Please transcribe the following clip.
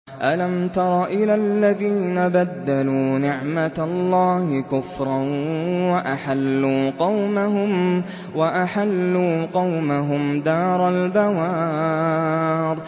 ۞ أَلَمْ تَرَ إِلَى الَّذِينَ بَدَّلُوا نِعْمَتَ اللَّهِ كُفْرًا وَأَحَلُّوا قَوْمَهُمْ دَارَ الْبَوَارِ